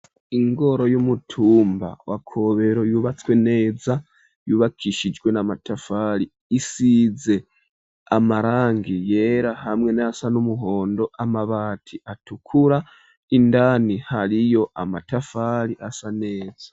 Ingoro y'umutumba, wa Kobero, yubatswe neza; yubakishijwe n'amatafari, isize amarangi yera, hamwe n'ayasa n'umuhondo; amabati atukura, indani hariyo, amatafari, asa neza.